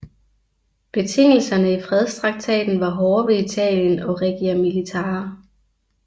Betingelserne i fredstraktaten var hårde ved Italien og Regia Militare